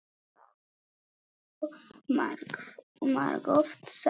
Það hefur þú margoft sagt.